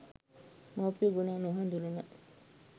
මවුපිය ගුණ නොහඳුනන